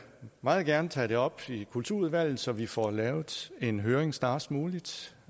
meget gerne tage det op i kulturudvalget så vi får lavet en høring snarest muligt